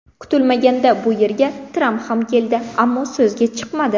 Kutilmaganda bu yerga Tramp ham keldi, ammo so‘zga chiqmadi.